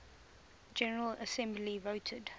general assembly voted